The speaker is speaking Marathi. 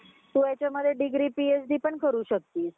तु हेच्यामध्ये degree PhD पण करू शकतीस